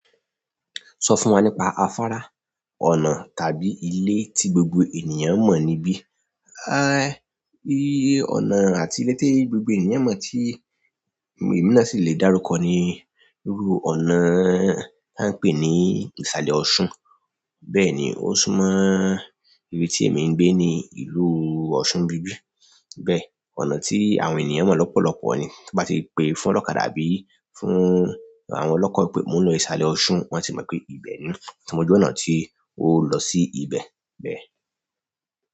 Sọ fún wa nípa afárá, ọ̀nà tàbí ilé tí gbogbo ènìyàn mọ̀ níbí. A, ìrí ọ̀nà àti ilé tí gbogbo ènìyàn mọ̀ tí èmi náà sì le dárúkọ ni, irú ọ̀nà a ń pè ní ìsàlẹ̀ Ọ̀ṣun. Bẹ́ẹ̀ ni, ó sún mọ́ ibi tí èmi ń gbé ni ìlú Ọ̀ṣun ibi. Bẹ́ẹ̀, ọ̀nà tí àwọn ènìyàn mọ̀ lọ́pọ̀lọpọ̀ ni. Tí wọ́n bá ti pe fún ọ̀kọ̀ dábí fún àwọn ọlọ́kọ̀ pé mo ń lọ ìsàlẹ̀ Ọ̀ṣun, wọ́n sì mọ̀ pé ibẹ̀ ni. Tí mo gbé ọ̀nà tí ó lọ sí ibẹ̀ bẹ́ẹ̀.